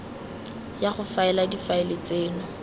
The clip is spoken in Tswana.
ya go faela difaele tseno